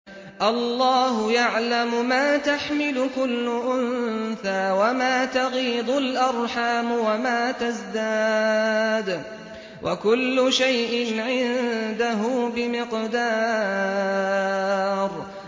اللَّهُ يَعْلَمُ مَا تَحْمِلُ كُلُّ أُنثَىٰ وَمَا تَغِيضُ الْأَرْحَامُ وَمَا تَزْدَادُ ۖ وَكُلُّ شَيْءٍ عِندَهُ بِمِقْدَارٍ